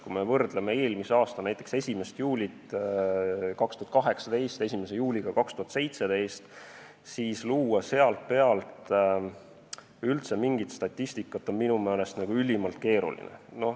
Kui me võrdleme näiteks eelmise aasta 1. juulit selle aasta 1. juuliga, siis oleks sealt pealt üldse mingit statistikat luua minu meelest ülimalt keeruline.